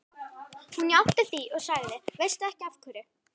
Hún játti því og sagði: Veistu ekki af hverju?